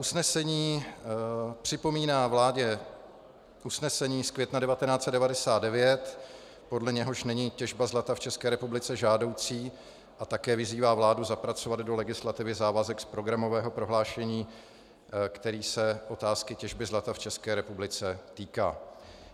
Usnesení připomíná vládě usnesení z května 1999, podle něhož není těžba zlata v České republice žádoucí, a také vyzývá vládu zapracovat do legislativy závazek z programového prohlášení, který se otázky těžby zlata v České republice týká.